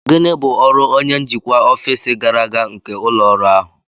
Gịnị bụ ọrụ onye njikwa ọfịs gàrà aga nke ụlọ ọrụ ahụ?